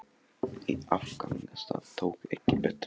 Í áfangastað tók ekki betra við.